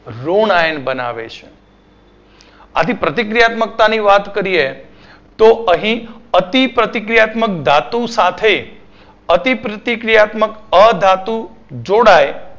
રુણાયન બનાવે છે. આની પ્રતિક્રિયાત્મક્તાની વાત કરીએ તો અહીં અતિપ્રતિક્રિયાત્મક ધાતુ સાથે અતિપ્રતિક્રિયાત્મક અધાતુ જોડાય